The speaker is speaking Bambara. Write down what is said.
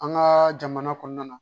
An ka jamana kɔnɔna na